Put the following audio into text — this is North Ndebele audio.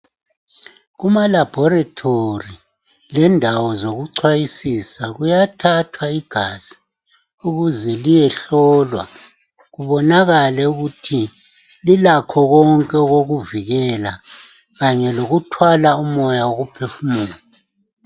Kumalabhorethori, lendawo zokucwayisisa kuyathathwa igazi ukuze liyehlolwa kubonakale ukuthi lilakho konke okokuvikela kanye lokuthwala umoya wokuphefumula.